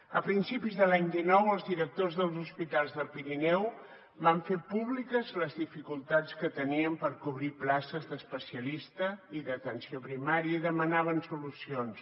a principis de l’any dinou els directors dels hospitals del pirineu van fer públiques les dificultats que tenien per cobrir places d’especialista i d’atenció primària i demanaven solucions